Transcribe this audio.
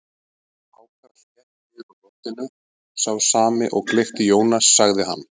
Hákarl hékk niður úr loftinu, sá sami og gleypti Jónas, sagði hann.